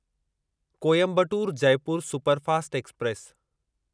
Coimbatore Jaipur superfast express